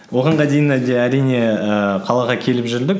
оған дейін әлде әрине ііі қалаға келіп жүрдік